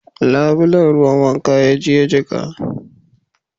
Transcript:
Labulen ruwan wanka ya yi jika